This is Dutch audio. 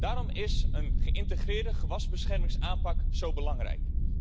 Daarom is een geïntegreerde gewasbeschermingsaanpak zo belangrijk.